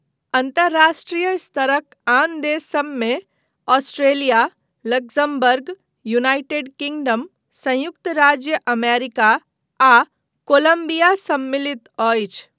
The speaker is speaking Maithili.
अन्तर्राष्ट्रीय स्तरक आन देशसभमे ऑस्ट्रेलिया, लक्जमबर्ग, यूनाइटेड किंगडम, संयुक्त राज्य अमेरिका आ कोलंबिया सम्मिलित अछि।